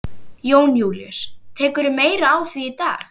Jón Júlíus: Tekurðu meira á því í dag?